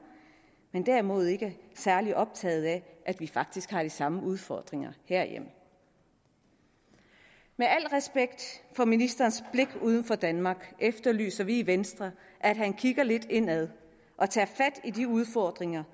men derimod ikke er særlig optaget af at vi faktisk har de samme udfordringer herhjemme med al respekt for ministerens blik for uden for danmark efterlyser vi i venstre at han kigger lidt indad og tager fat i de udfordringer